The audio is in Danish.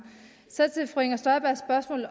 så til fru inger støjbergs spørgsmål